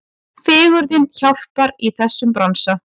Fegurðin hjálpar í þessum bransa.